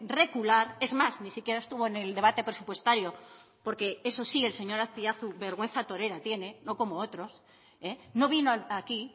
recular es más ni siquiera estuvo en el debate presupuestario porque eso sí el señor azpiazu vergüenza torera tiene no como otros no vino aquí